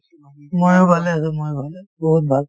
ময়ো ভালে আছো ময়ো ভালে বহুত ভাল